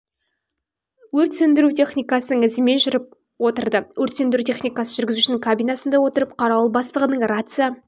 өрт сөндіру техникасының ізімен жүріп отырды өрт сөндіру техникасы жүргізушінің кабинасында отырып қарауыл бастығы рация